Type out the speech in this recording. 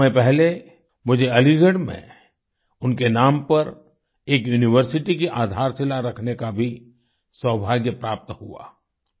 कुछ समय पहले मुझे अलीगढ़ में उनके नाम पर एक यूनिवर्सिटी की आधारशिला रखने का भी सौभाग्य प्राप्त हुआ